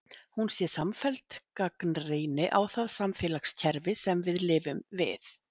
Hún sé samfelld gagnrýni á það samfélagskerfi sem við lifum við.